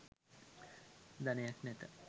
ධනයක් නැත